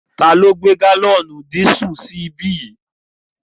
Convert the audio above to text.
Ta ló gbé gálọ̀nì dísù sí ibí yìí?